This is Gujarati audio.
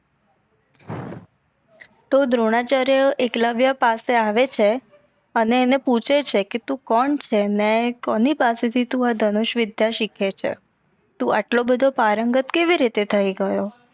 તો દ્રોણાચાર્ય એકલવ્ય પાસે આવે છે અને એને પૂછે છે કે તું કોણ છે? ને કોની પાસે થી તું એ ધનુષ વિધ્ય સિખે છે? તું આટલો બધો પારંગત કેવી રીતે થઈ ગયો.